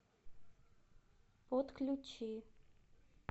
отключи